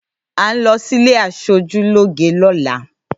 À ń lo sílé aṣojú lóge lọ́la.